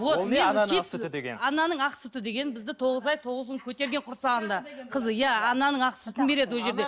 ананың ақ сүті деген бізді тоғыз ай тоғыз күн көтерген құрсағында қызы иә ананың ақ сүтін береді ол жерде